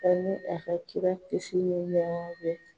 Ani a ka kira kisi ni nɛma be